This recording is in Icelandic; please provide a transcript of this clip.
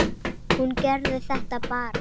Hún gerði þetta bara.